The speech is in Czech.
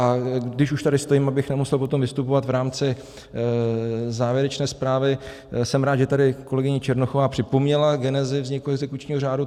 A když už tady stojím, abych nemusel potom vystupovat v rámci závěrečné zprávy, jsem rád, že tady kolegyně Černochová připomněla genezi vzniku exekučního řádu.